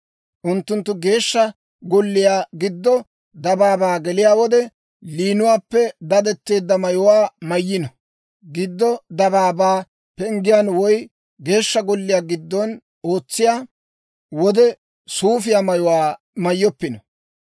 Unttunttu Geeshsha Golliyaw giddo dabaabaa geliyaa wode, liinuwaappe dadetteedda mayuwaa mayno; giddo dabaabaa penggen woy Geeshsha Golliyaa giddon ootsiyaa wode, suufiyaa mayuwaa mayyoppino.